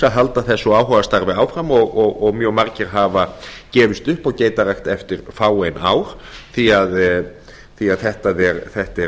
að halda þessu áhugastarfi áfram og margir hafa gefist upp á geitarækt eftir fáein ár því að þetta er